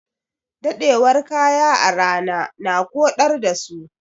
Ɗadewar kaya a rana na koɗar da su.